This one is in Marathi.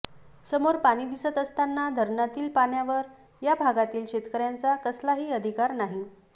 समोर पाणी दिसत असताना धरणातील पाण्यावर या भागातील शेतकऱ्यांचा कसलाही अधिकार नाही